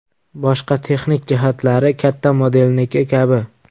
Boshqa texnik jihatlari katta modelniki kabi.